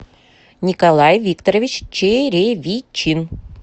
николай викторович черевичин